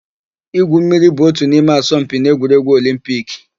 Igwu mmiri bụ ótù n'ime asọmpi n'egwuregwu Olimpiki.